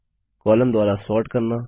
column द्वारा sort करना